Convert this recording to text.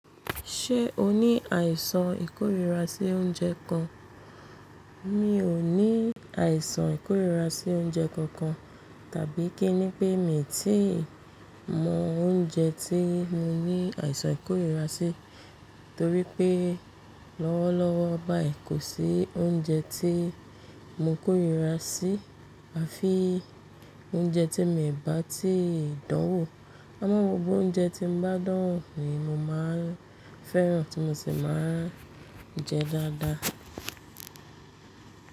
Ṣé o ní àìsàn ìkórìíra sí oúnjẹ kan? Mi ò ní àìsàn ìkórìíra sí oúnjẹ kankan tàbí kí ní pé mi ti mọ oúnjẹ tí mo ní àìsàn ìkórìíra sí, torí pé lọ́wọ́lọ́wọ́ báyìí kò sí oúnjẹ tí mo kórìíra sí àfi oúnjẹ tí mìbá tí ì dánwó. Àmo gbogbo oúnjẹ tí mo bá dánwò ni mo máa ń fẹ́ràn tí mo sì máa ń jẹ dáadáa.